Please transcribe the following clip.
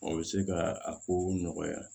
O bɛ se ka a kow nɔgɔya